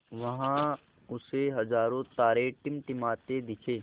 वहाँ उसे हज़ारों तारे टिमटिमाते दिखे